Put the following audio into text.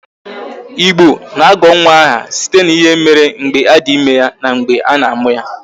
Igbo na-agọ nwa aha site n'ihe mere mgbe a dị ime ya na mgbe a na amụ ya